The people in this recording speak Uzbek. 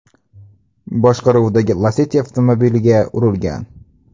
boshqaruvidagi Lacetti avtomobiliga urilgan.